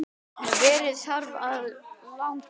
Veðrið þarf að laga.